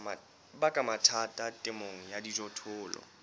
baka mathata temong ya dijothollo